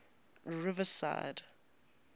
riverside